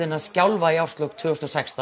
að skjálfa í árslok tvö þúsund og sextán